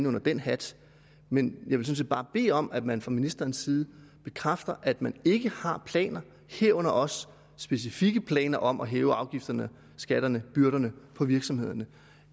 under én hat men jeg vil sådan set bare bede om at man fra ministerens side bekræfter at man ikke har planer herunder også specifikke planer om at hæve afgifterne skatterne og byrderne for virksomhederne